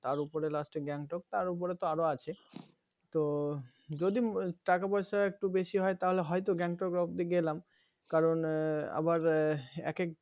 তার উপরে last এ Gangtok তার উপরে তো আরও আছে তো যদি টাকা পয়সা একটু বেশি হয় তাহলে হয়তো Gangtok অবদি গেলাম কারণ আবার এক এক